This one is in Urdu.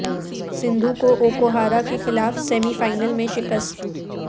سندھو کو اوکو ہارا کے خلاف سیمی فائنل میں شکست